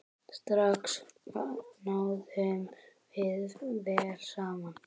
Strax náðum við vel saman.